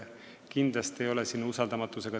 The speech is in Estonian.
Kindlasti ei ole siin tegemist usaldamatusega.